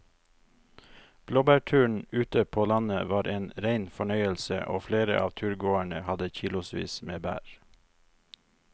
Blåbærturen ute på landet var en rein fornøyelse og flere av turgåerene hadde kilosvis med bær.